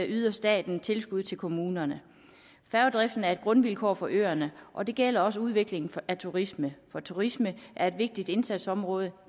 yder staten tilskud til kommunerne færgedriften er et grundvilkår for øerne og det gælder også udviklingen af turisme for turisme er et vigtigt indsatsområde